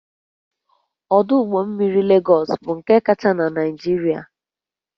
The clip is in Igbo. Ọdụ ụgbọ mmiri Legọs bụ nke kacha na Naịjirịa